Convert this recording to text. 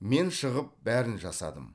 мен шығып бәрін жасадым